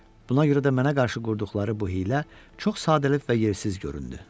Buna görə də mənə qarşı qurduqları bu hiylə çox sadəlövh və yersiz göründü.